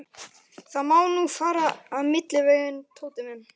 Það má nú fara milliveginn, Tóti minn.